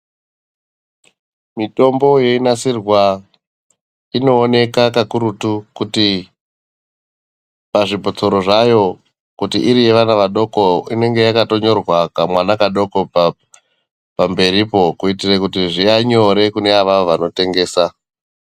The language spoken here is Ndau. Mitombo yeinasirwa inooneka kakurutu kuti pazvibhotoro zvayo kuti iri yevana vadoko inengeyakatonyora kamwana kadoko pamberipo. Kuitire kuti zviya nyore kune avo vanotengesa.